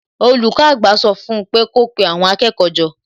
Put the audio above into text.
Olùkọ́ àgbà sọ fún un pé kí ó pe àwọn akẹ́kọ̀ọ́ jọ